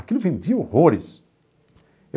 Aquilo vendia horrores.